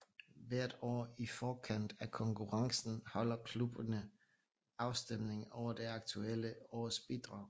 Hvert år i forkant af konkurrencen holder klubbene afstemning over det aktuelle års bidrag